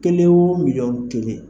Kelen wo miliyɔn kelen.